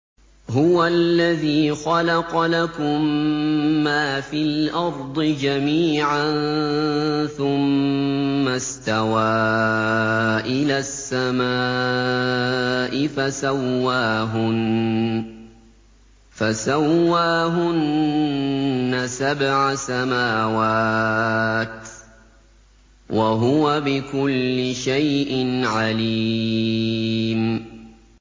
هُوَ الَّذِي خَلَقَ لَكُم مَّا فِي الْأَرْضِ جَمِيعًا ثُمَّ اسْتَوَىٰ إِلَى السَّمَاءِ فَسَوَّاهُنَّ سَبْعَ سَمَاوَاتٍ ۚ وَهُوَ بِكُلِّ شَيْءٍ عَلِيمٌ